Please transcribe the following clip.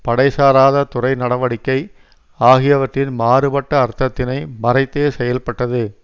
படை சாராத துறை நடவடிக்கை ஆகியவற்றின் மாறுபட்ட அர்த்தத்தினை மறைத்தே செயல்பட்டது